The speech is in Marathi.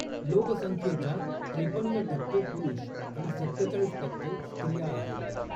लोकसंख्येच्या त्रेपन्न टक्के पुरुष आणि सत्तेचाळीस टक्के स्त्रिया आहेत.